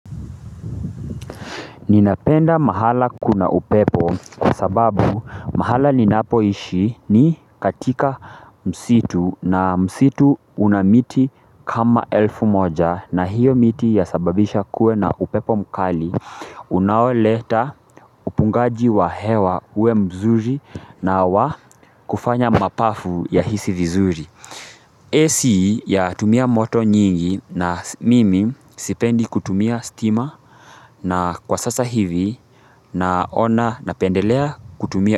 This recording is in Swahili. Ninapenda mahala kuna upepo kwa sababu mahala ninapoishi ni katika msitu na msitu una miti kama elfu moja na hiyo miti yasababisha kuwe na upepo mkali unaoleta upungaji wa hewa uwe mzuri na wa kufanya mapafu yahisi vizuri AC yatumia moto nyingi na mimi sipendi kutumia stima na kwa sasa hivi naona na lpendelea kutumia.